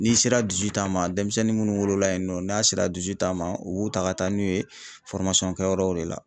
N'i sera ma denmisɛnnin munnu wolola yen nɔ n'a sera ma u b'u ta ka taa n'u ye kɛyɔrɔw de la.